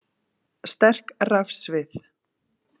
Sterk rafsvið